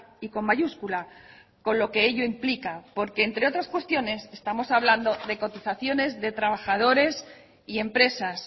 y con mayúscula con lo que ello implica porque entre otras cuestiones estamos hablando de cotizaciones de trabajadores y empresas